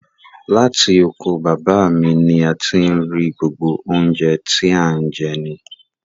Látì oko baba mi ní a ti n rí gbógbo ọ̀un jẹ̀ tì an jẹ ni.